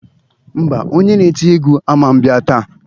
Ḿbà, onye na-eti egwu aman bịa taa.